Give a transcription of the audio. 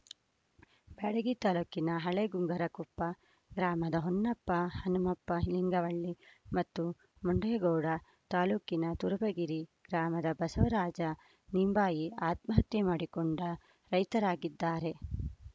ಬ್ಯಾಡಗಿ ತಾಲೂಕಿನ ಹಳೆ ಗುಂಗರಕೊಪ್ಪ ಗ್ರಾಮದ ಹೊನ್ನಪ್ಪ ಹನುಮಪ್ಪ ಲಿಂಗದಳ್ಳಿ ಮತ್ತು ಮುಂಡೆ ಗೋಡ ತಾಲೂಕಿನ ತುರಬರಗಿ ಗ್ರಾಮದ ಬಸವರಾಜ ನಿಂಬಾಯಿ ಆತ್ಮಹತ್ಯೆ ಮಾಡಿಕೊಂಡ ರೈತರಾಗಿದ್ದಾರೆ